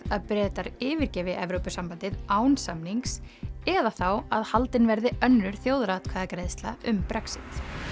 að Bretar yfirgefi Evrópusambandið án samnings eða þá að haldin verði önnur þjóðaratkvæðagreiðsla um Brexit